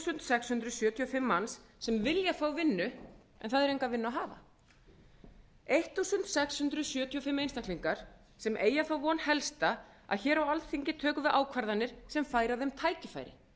sextán hundruð sjötíu og fimm manns sem vilja fá vinnu en það er enga vinnu að hafa sextán hundruð sjötíu og fimm einstaklingar sem eygja þá von helsta að hér á alþingi tökum við ákvarðanir sem færa þeim tækifæri